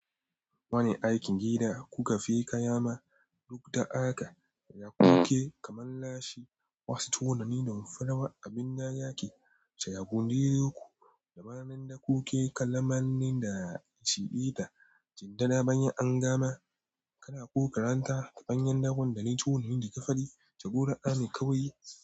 Wani aikin gida kuka feka yama, duk ta aka, da kuke kamanashi wasu tunanin damfarawa abin da yake shayagunde ku. Damanan da kuke kallamanin da shiɓe ta, jinda na bayan an gama, kana ku karanta ta bayan dakon da ni tuni hundi ka faɗi, tagora ani kawai yi.